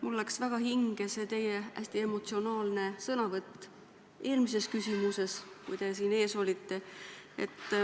Mulle läks väga hinge teie hästi emotsionaalne sõnavõtt meie ees eelmises küsimuses.